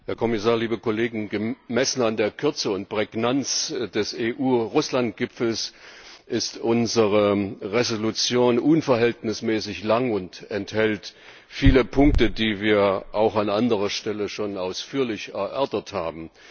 Frau Präsidentin, Herr Kommissar, liebe Kollegen! Gemessen an der Kürze und Prägnanz des EU Russland Gipfels ist unsere Entschließung unverhältnismäßig lang und enthält viele Punkte, die wir auch an anderer Stelle schon ausführlich erörtert haben.